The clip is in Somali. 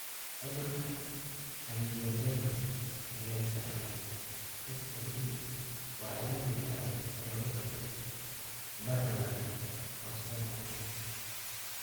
Cudurka anjioedema ee la iska dhaxlo (HAE) waa cillad difaaceed oo lagu garto barar daran oo soo noqnoqda.